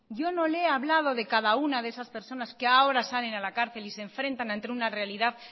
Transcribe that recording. yo no le he hablado de cada una de esas personas que ahora salen de la cárcel y se enfrentan ante una realidad